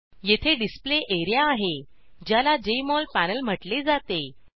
येथे display area आहे ज्याला जेएमओल पॅनल म्हटले जाते